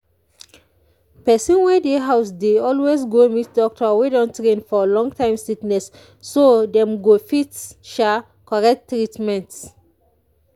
people wey dey house dey always go meet doctor wey don train for long-time sickness so dem go fit sha correct treatment.